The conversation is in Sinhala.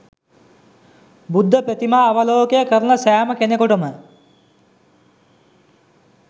බුද්ධ ප්‍රතිමා අවලෝකය කරන සෑම කෙනෙකුටම